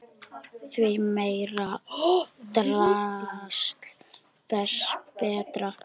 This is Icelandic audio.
Því meira drasl þess betra.